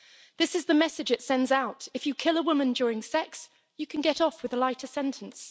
This is the message it sends out if you kill a woman during sex, you can get off with a lighter sentence.